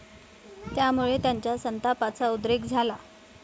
त्यामुळे त्यांच्या संतापाचा उद्रेक झाला.